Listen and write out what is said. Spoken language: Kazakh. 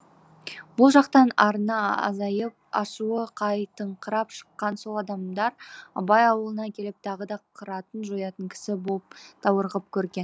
бұл жақтан арыны азайып ашуы қайтыңқырап шыққан сол адамдар абай аулына келіп тағы да қыратын жоятын кісі боп даурығып көрген